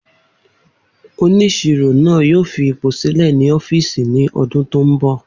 Oniṣiro naa yoo fi ipo silẹ ni ọfiisi ni ọdun to nbọ.